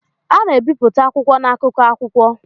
A na-ebipụta akwụkwọ na akụkọ akwụkwọ.